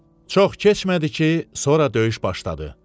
Çox keçmədi ki, sonra döyüş başladı.